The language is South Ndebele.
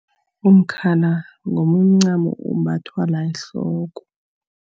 Umkhala ngomunye umncamo ombathwa la ehloko.